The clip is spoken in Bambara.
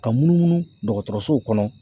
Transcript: Ka munumunu dɔgɔtɔrɔsow kɔnɔ.